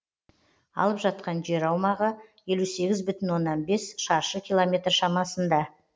алып жатқан жер аумағы елу сегіз бүтін оннан бес шаршы километр шамасында